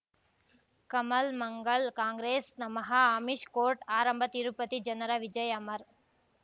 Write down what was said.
ಕಮಲ್ ಮಂಗಳ್ ಕಾಂಗ್ರೆಸ್ ನಮಃ ಅಮಿಷ್ ಕೋರ್ಟ್ ಆರಂಭ ತಿರುಪತಿ ಜನರ ವಿಜಯ ಅಮರ್